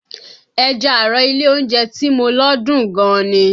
Ẹja àrọ̀ ilé oúnjẹ tí mo lọ dùn gan ni